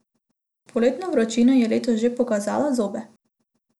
Poletna vročina je letos že pokazala zobe.